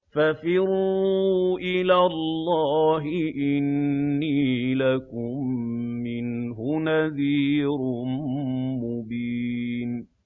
فَفِرُّوا إِلَى اللَّهِ ۖ إِنِّي لَكُم مِّنْهُ نَذِيرٌ مُّبِينٌ